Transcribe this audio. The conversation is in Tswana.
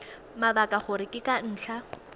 mabaka gore ke ka ntlha